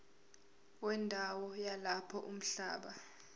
wendawo yalapho umhlaba